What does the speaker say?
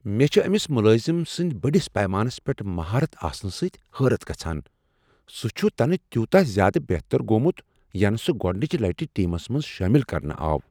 مے٘ چھِ أمس ملٲزم سٕنٛد بٔڑس پیمانس پیٹھ مہارت آسنہٕ سۭتہِ حٲرت گژھان، سٗہ چھٗ تنہٕ تیوٗتاہ زیادٕ بہتر گوٚمت، ینہٕ سٗہ گۄڑنچہ لٹہ ٹیٖمس منٛز شٲمل کرنہٕ آو